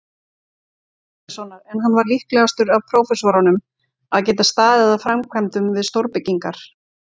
Jóhannessonar, en hann var líklegastur af prófessorunum að geta staðið að framkvæmdum við stórbyggingar.